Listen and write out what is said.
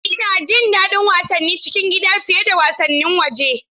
Ina jin daɗin wasannin cikin gida fiye da wasannin waje.